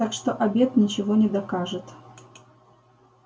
так что обед ничего не докажет